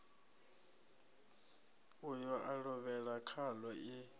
uyo a lovhela khaḽo i